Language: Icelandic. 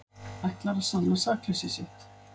Ætlar að sanna sakleysi sitt